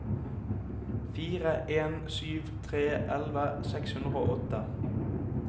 fire en sju tre elleve seks hundre og åtte